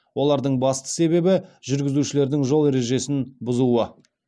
олардың басты себебі жүргізушілердің жол ережесін бұзуы